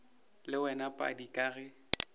le wena padi ka ge